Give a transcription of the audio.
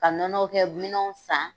Ka nɔnɔ kɛ minɛn san